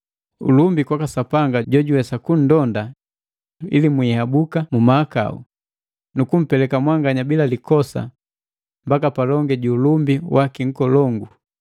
Ulumbi kwaka Sapanga jojuwesa kunndonda ili mwihabuki mu mahakau, nu kumpeleka mwanganya bila likosa mbaka palongi ju ulumbi waki nkolongu,